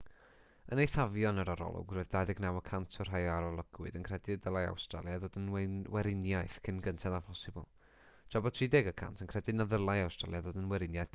yn eithafion yr arolwg roedd 29 y cant o'r rhai a arolygwyd yn credu y dylai awstralia ddod yn weriniaeth cyn gynted â phosibl tra bod 31 cant yn credu na ddylai awstralia ddod yn weriniaeth byth